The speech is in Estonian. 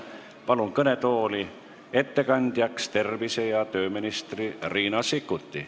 Palun kõnetooli ettekandjaks tervise- ja tööminister Riina Sikkuti.